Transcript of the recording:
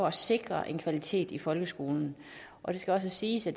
at sikre kvaliteten i folkeskolen og det skal også siges at